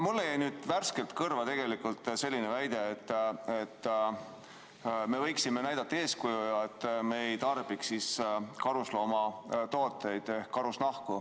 Mulle jäi nüüd värskelt kõrva selline väide, et me võiksime näidata eeskuju ja mitte tarbida karusnahatooteid.